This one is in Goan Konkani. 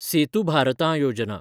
सेतू भारतां योजना